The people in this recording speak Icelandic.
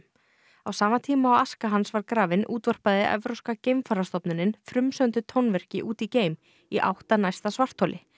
á sama tíma og aska hans var grafin útvarpaði Evrópska geimferðastofnunin frumsömdu tónverki út í geim í átt að næsta svartholi